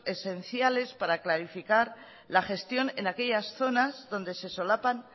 esenciales para clarificar la gestión en aquellas zonas donde se solapan